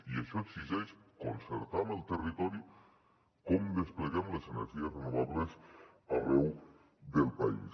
i això exigeix concertar amb el territori com despleguem les energies renovables arreu del país